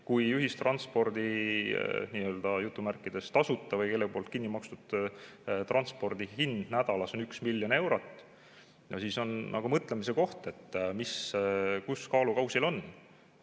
Kui "tasuta" ühistranspordi või kellegi poolt kinni makstud transpordi hind nädalas on 1 miljon eurot, siis on mõtlemise koht, mis kus kaalukausil on.